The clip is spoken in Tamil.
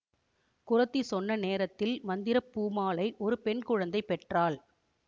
குறத்தி சொன்ன நேரத்தில் மந்திரப்பூமாலை ஒரு பெண் குழந்தை பெற்றாள்